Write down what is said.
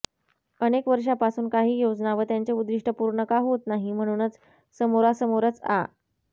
अनेकवर्षापासुन काही योजना व त्यांचे ऊद्दिष्ठ पुर्ण का होत नाही म्हणुन समोरासमोरच आ